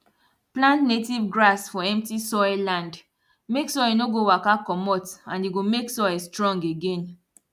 plant native grass for empty soil land make soil no go waka comot and e go make soil strong again